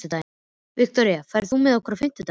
Viktoria, ferð þú með okkur á fimmtudaginn?